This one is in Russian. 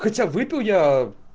хотя выпил я